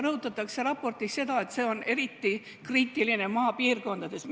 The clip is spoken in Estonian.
Raportis rõhutatakse seda, et olukord on eriti kriitiline maapiirkondades.